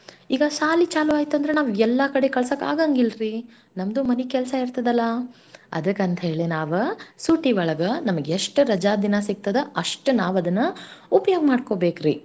ಈಗ ಸಾಲಿ ಚಾಲೂ ಆಯ್ತಂದರ ನಮ್ಗ್ ಎಲ್ಲಾ ಕಡೆ ಕಳ್ಸಾಕ್ ಆಗಂಗಿಲ್ರೀ ನಮ್ದೂ ಮನೀ ಕೆಲ್ಸ‌ ಇರ್ತದಲಾ.‌ ಅದಕಂತ್ಹೇಳೆ ನಾವ ಸೂಟಿ ಒಳಗ ನಮ್ಗೆಷ್ಟ ರಜಾದಿನ ಸಿಗ್ತದ ಅಷ್ಟ್ ನಾವದನ್ನ ಉಪಯೋಗ್ ಮಾಡ್ಕೋಬೇಕ್ರಿ.